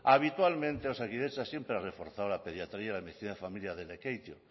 habitualmente osakidetza siempre ha reforzado la pediatría de medicina de familia de lekeitio